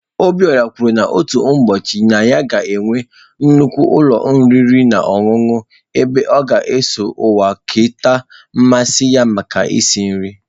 Obiora kwuru na otu ụbọchị na ya ga-enwe nnukwu ụlọ oriri na ọṅụṅụ ebe ọ ga-eso ụwa kerịta mmasị ya maka isi nri